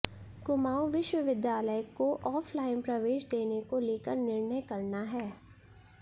कुमाऊं विश्वविद्यालय को ऑफलाइन प्रवेश देने को लेकर निर्णय करना है